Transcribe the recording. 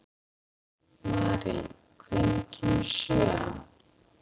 Mary, hvenær kemur sjöan?